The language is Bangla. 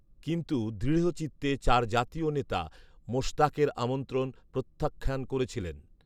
কিন্তু দৃঢ়চিত্তে চার জাতীয় নেতা মোশতাকের আমন্ত্রণ প্রত্যাখ্যান করেছিলেন